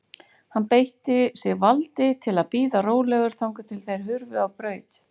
Hann beitti sig valdi til að bíða rólegur þangað til þeir hurfu á braut.